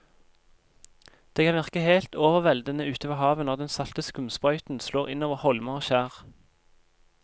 Det kan virke helt overveldende ute ved havet når den salte skumsprøyten slår innover holmer og skjær.